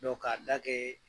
k'a da kɛ